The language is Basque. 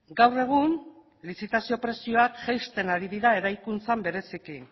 gaur egun lizitazio prezioak jaisten ari dira eraikuntzan bereziki